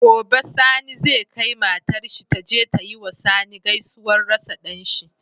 Gobe sani zai kai matar shi taje ta yiwa sani gaisuwar rasa danshi